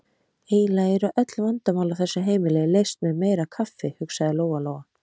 Eiginlega eru öll vandamál á þessu heimili leyst með meira kaffi, hugsaði Lóa-Lóa.